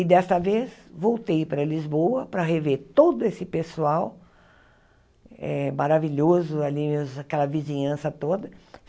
E desta vez voltei para Lisboa para rever todo esse pessoal eh maravilhoso ali, aquela vizinhança toda.